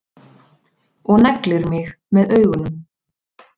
Og neglir mig með augunum.